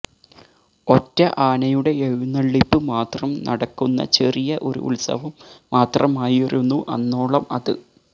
ഒറ്റ ആനയുടെ എഴുന്നള്ളിപ്പ് മാത്രം നടക്കുന്ന ചെറിയ ഒരു ഉത്സവം മാത്രമായിരുന്നു അന്നോളം അത്